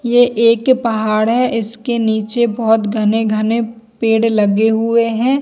ये एक पहाड़ है इसके नीचे बहुत घने-घने पेड़ लगे हुए हैं।